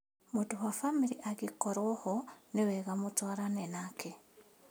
Mũndũ wa bamĩrĩ angĩkorwo ho nĩwega mũtwarane nake